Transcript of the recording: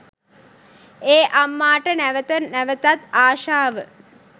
ඒ අම්මාට නැවත නැවතත් ආශාව